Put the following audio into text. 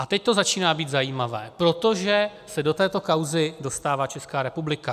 A teď to začíná být zajímavé, protože se do této kauzy dostává Česká republika.